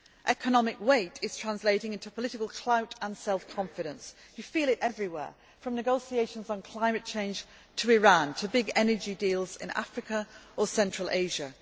Economic weight is translating into political clout and self confidence. You feel it everywhere from negotiations on climate change to Iran, to big energy deals in Africa or central Asia.